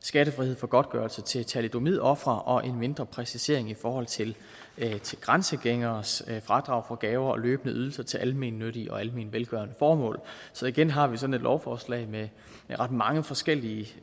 skattefrihed for godtgørelse til thalidomidofre og en mindre præcisering i forhold til grænsegængeres fradrag for gaver og løbende ydelser til almennyttige og almenvelgørende formål så igen har vi sådan et lovforslag med ret mange forskellige